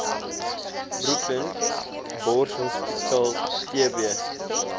brooklyn borshospitaal tb